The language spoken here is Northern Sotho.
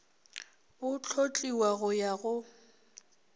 bo hlotliwa go ya go